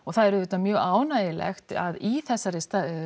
það er auðvitað mjög ánægulegt að í þessari